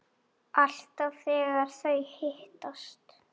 Alltaf þegar þau hittast